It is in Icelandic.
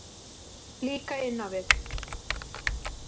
Líka inn á við.